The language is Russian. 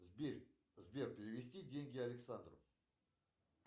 сбер перевести деньги александру